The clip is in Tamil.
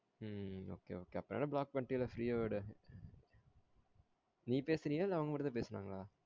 உம் okay okay அப்ரோ என்ன block பண்ணிடிள்ள free ஆ விடு நீ பேசுறியா இல்ல அவங்க மட்டும் தான் பேசுனாகல்லா